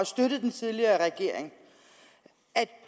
støttet den tidligere regering at